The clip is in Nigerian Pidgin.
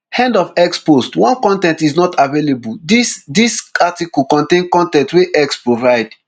end of x post one con ten t is not available dis dis article contain con ten t wey x provide